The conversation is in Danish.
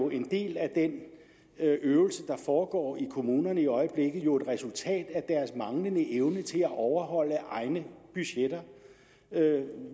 en del af den øvelse der foregår i kommunerne i øjeblikket jo et resultat af deres manglende evne til at overholde egne budgetter